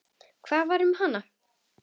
Hvað varð um hana?